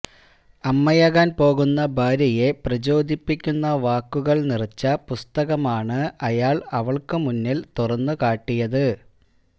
അമ്മയാകാൻ പോകുന്ന ഭാര്യയെ പ്രചോദിപ്പിക്കുന്ന വാക്കുകൾ നിറച്ച പുസ്തകമാണ് അയാൾ അവൾക്കു മുന്നിൽ തുറന്നു കാട്ടിയത്